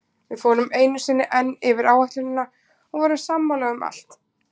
Við fórum einu sinni enn yfir áætlunina og vorum sammála um allt.